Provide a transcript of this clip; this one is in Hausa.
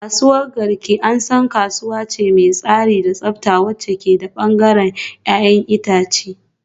Kasuwar Garki an san kasuwa ce mai tsari da tsafta wacce ke da bangaren 'ya'yan itace